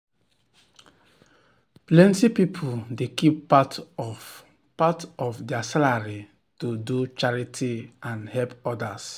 plenty people dey keep part of part of their salary to do charity and help others.